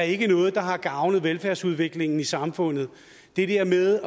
ikke er noget der har gavnet velfærdsudviklingen i samfundet det der med at